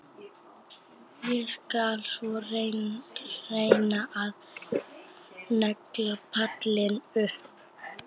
Ég skal svo reyna að negla pallinn upp.